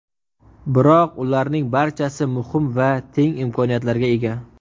Biroq ularning barchasi muhim va teng imkoniyatlarga ega.